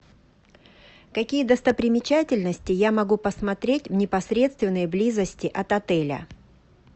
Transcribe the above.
какие достопримечательности я могу посмотреть в непосредственной близости от отеля